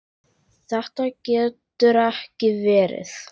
Þetta getur ekki verið.